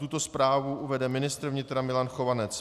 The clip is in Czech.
Tuto zprávu uvede ministr vnitra Milan Chovanec.